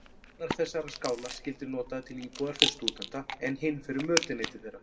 Annar þessara skála skyldi notaður til íbúðar fyrir stúdenta, en hinn fyrir mötuneyti þeirra.